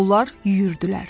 Onlar yüyürdülər.